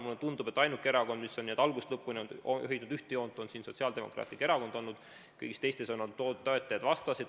Mulle tundub, et ainuke erakond, mis on algusest lõpuni hoidnud ühte joont, on olnud Sotsiaaldemokraatlik Erakond, kõigis teistes on olnud toetajaid ja vastaseid.